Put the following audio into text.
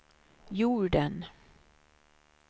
jorden